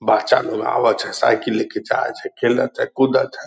बाच्चा लोग आवत है सायकिल लेके जाय छै खेलत है कूदत है।